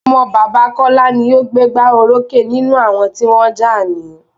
Ọmọ bàbá Kọla ni o gbé gbá orókè nínú àwọn tí wọ́n jà ní